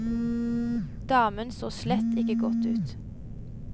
Damen så slett ikke godt ut.